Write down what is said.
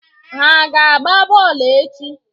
Ha aga-agba bọọlụ echi?